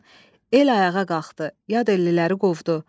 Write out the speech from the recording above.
El ayağa qalxdı, yad elliləri qovdu.